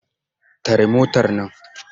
Tare motar nan!